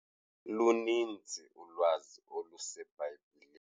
Luninzi ulwazi oluseBhayibhileni.